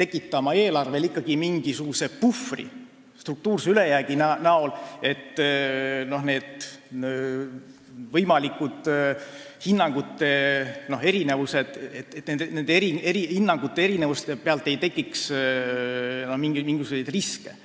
tekitama eelarvele ikkagi mingisuguse puhvri struktuurse ülejäägi kujul, et nende hinnangute erinevuste pealt ei tekiks mingisuguseid riske.